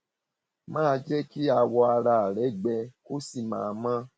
máa jẹ kí awọ ara rẹ gbẹ kó sì máa mọ